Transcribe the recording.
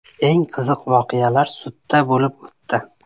Eng qiziq voqealar sudda bo‘lib o‘tdi.